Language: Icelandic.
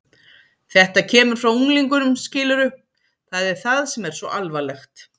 Þetta kemur frá unglingunum, skilurðu, það er það sem er svo alvarlegt.